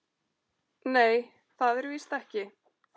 Nei, það er víst ekki.